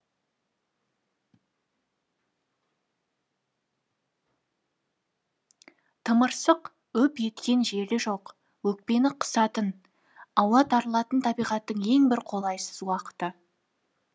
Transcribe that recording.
тымырсық үп еткен желі жоқ өкпені қысатын ауа тарылатын табиғаттың ең бір қолайсыз уақыты